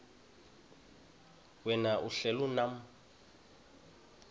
wena uhlel unam